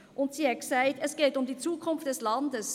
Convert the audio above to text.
Zudem hat sie gesagt: «Es geht um die Zukunft des Landes!